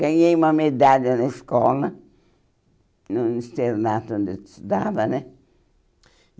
Ganhei uma medalha na escola, no internato onde eu estudava, né?